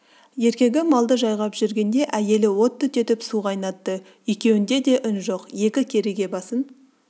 еркегі малды жайғап жүргенде әйелі от түтетіп су қайнатты екеуінде де үн жоқ екі кереге басын